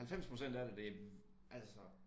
90% af det altså